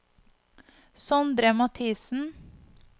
Sondre Mathiesen